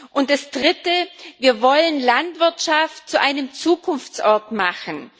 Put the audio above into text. Und das Dritte Wir wollen Landwirtschaft zu einem Zukunftsort machen.